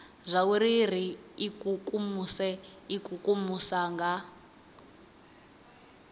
zwauri ri ikukumuse ikukumusa nga